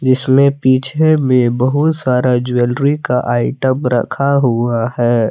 इसमें पीछे में बहुत सारा ज्वेलरी का आइटम रखा हुआ है।